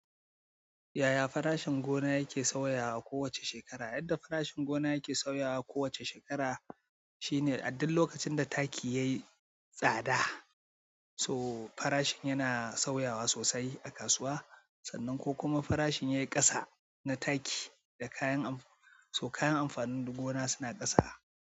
Yaya farashin gona yake sauyawa kowace shekara? Yadda farashin gona yake sauyawa kowace shekara shine a duk lokacin da taki yayi tsada so farashi yana sauyawa sosai a kasuwa sannan ko kuma farashin yayi ƙasa na taki da kayan amfanin, so kayan amfanin gona suna ƙasa.